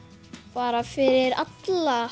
bara fyrir alla